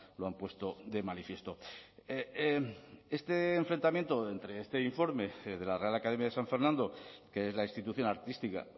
lo han puesto de manifiesto este enfrentamiento entre este informe de la real academia de san fernando que es la institución artística